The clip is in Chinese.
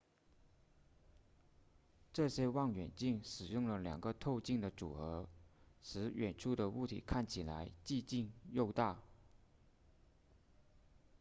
这些望远镜使用了两个透镜的组合使远处的物体看起来既近又大